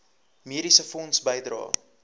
mediese fonds bydrae